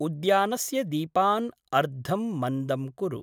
उद्यानस्य दीपान् अर्धं मन्दं कुरु।